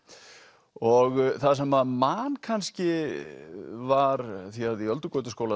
og það sem maður man kannski var því að í